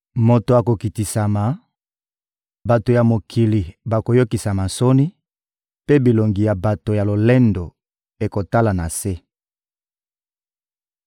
Moto akokitisama, bato ya mokili bakoyokisama soni, mpe bilongi ya bato ya lolendo ekotala na se.